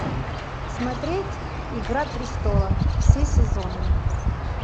смотреть игра престолов все сезоны